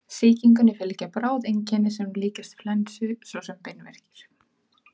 Sýkingunni fylgja bráð einkenni sem líkjast flensu svo sem beinverkir.